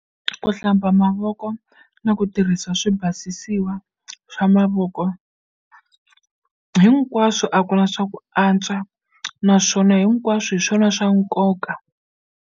Ku hlamba mavoko na ku tirhisa swi basisiwa swa mavoko hinkwaswo a ku na swa ku antswa naswona hinkwaswo hi swona swa nkoka.